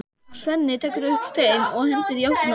Svenni tekur upp stein og hendir í áttina til þeirra.